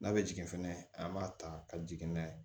N'a bɛ jigin fɛnɛ an b'a ta ka jigin n'a ye